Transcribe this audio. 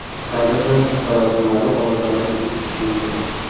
Kadrda sarosimali ovozlarni eshitish mumkin.